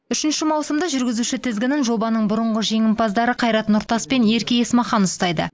үшінші маусымда жүргізуші тізгінін жобаның бұрынғы жеңімпаздары қайрат нұртас пен ерке есмахан ұстайды